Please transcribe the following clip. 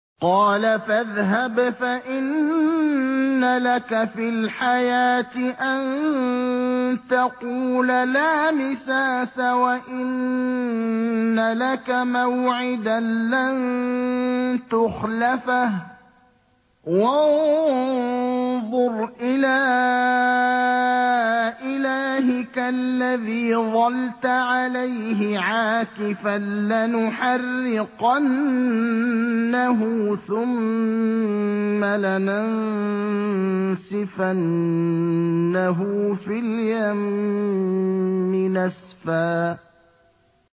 قَالَ فَاذْهَبْ فَإِنَّ لَكَ فِي الْحَيَاةِ أَن تَقُولَ لَا مِسَاسَ ۖ وَإِنَّ لَكَ مَوْعِدًا لَّن تُخْلَفَهُ ۖ وَانظُرْ إِلَىٰ إِلَٰهِكَ الَّذِي ظَلْتَ عَلَيْهِ عَاكِفًا ۖ لَّنُحَرِّقَنَّهُ ثُمَّ لَنَنسِفَنَّهُ فِي الْيَمِّ نَسْفًا